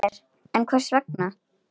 Óljóst er enn hvers vegna.